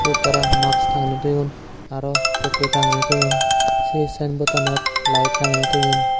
hup tara max tagene toyon arw tokke tagene toyon se saen bottanot light tangene toyon.